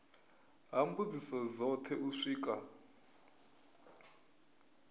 ha mbudziso dzothe u swika